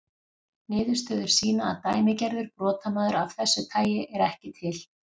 Niðurstöður sýna að dæmigerður brotamaður af þessu tagi er ekki til.